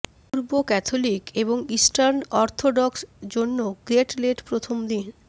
পূর্ব Catholic এবং eastern Orthodox জন্য great lent প্রথম দিন